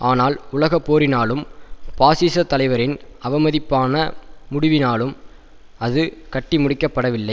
ஆனால் உலகப்போரினாலும் பாசிசத்தலைவரின் அவமதிப்பான முடிவினாலும் அது கட்டி முடிக்கப்படவில்லை